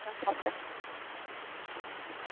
ta ta.